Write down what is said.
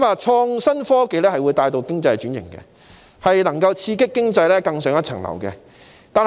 創新科技能夠帶動經濟轉型，刺激經濟更上一層樓。